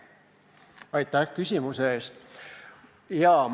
Aitäh küsimuse eest!